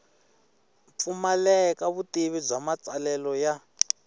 pfumaleka vutivi bya matsalelo ya